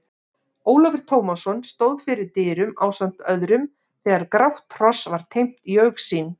Ólafur Tómasson stóð fyrir dyrum ásamt öðrum þegar grátt hross var teymt í augsýn.